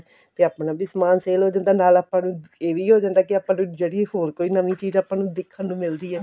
ਤੇ ਆਪਣਾ ਵੀ ਸਮਾਨ sale ਹੋ ਜਾਂਦਾ ਏ ਨਾਲ ਆਪਾਂ ਨੂੰ ਇਹ ਵੀ ਹੋ ਜਾਂਦਾ ਕੇ ਜਿਹੜੀ ਹੋਰ ਕੋਈ ਨਵੀਂ ਚੀਜ਼ ਆਪਾਂ ਨੂੰ ਦੇਖਣ ਨੂੰ ਮਿਲਦੀ ਆ